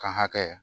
Kan hakɛ